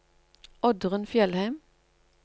Oddrun Fjellheim